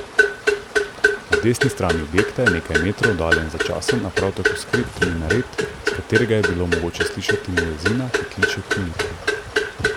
Na desni strani objekta je nekaj metrov oddaljen začasen, a prav tako skrit minaret, s katerega je bilo mogoče slišati muezina, ki kliče k molitvi.